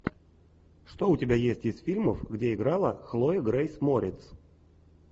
что у тебя есть из фильмов где играла хлоя грейс морец